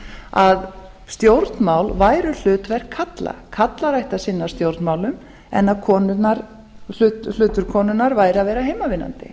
að stjórnmál væru hlutverk karla karlar ættu að sinna stjórnmálum en hlutur konunnar væri að vera heimavinnandi